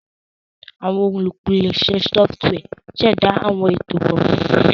Awọn olupilẹṣẹ sọfitiwia ṣẹda awọn eto kọnputa.